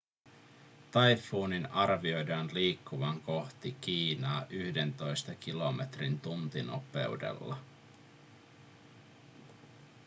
taifuunin arvioidaan liikkuvan kohti kiinaa yhdentoista kilometrin tuntinopeudella